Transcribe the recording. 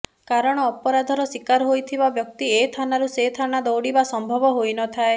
କାରଣ ଅପରାଧର ଶିକାର ହୋଇଥିବା ବ୍ୟକ୍ତି ଏଥାନାରୁ ସେ ଥାନା ଦୌଡିବା ସମ୍ଭବ ହୋଇନଥାଏ